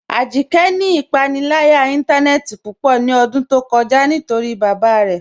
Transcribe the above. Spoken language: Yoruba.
Ajíkẹ́ ni ipànílàyà ìntànẹ̀ẹ̀tì púpọ̀ ní ọ̀dún tó kọ̀já̀ nítorí bábá rẹ̀